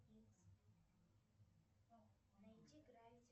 найди гравити